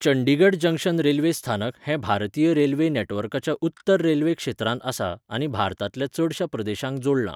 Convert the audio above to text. Chandigarh junction railway स्थानक हें भारतीय रेल्वे नॅटवर्काच्या उत्तर रेल्वे क्षेत्रांत आसा आनी भारतांतल्या चडशा प्रदेशांक जोडलां.